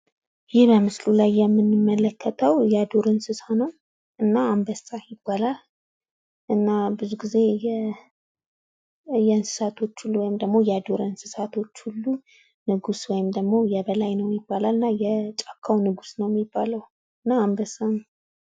ይህ በምስሉ ላይ የምንመለከተው የዱር እንስሳ ነው። እና አንበሳ ይባላል። እና ብዙ ጊዜ የእንስሳቶች ወይም የዱር እንስሳቶች ሁሉ ንጉስ ወይም ደግሞ የበላይ ነው ይባላልና የጫካው ንጉስ አንበሳ ነው።